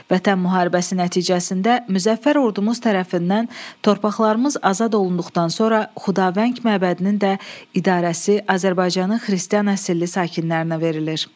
Vətən müharibəsi nəticəsində Müzəffər Ordumuz tərəfindən torpaqlarımız azad olunduqdan sonra Xudavəng məbədinin də idarəsi Azərbaycanın xristian əsilli sakinlərinə verilir.